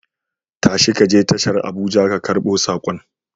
Tashi ka je tashar Abuja ka karbo saƙon.